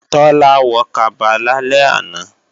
Tọ́lá wọ kaba lálẹ́ àná